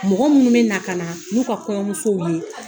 Mɔgɔ minnu bɛ na, ka na n'u ka kɔɲɔmusow ye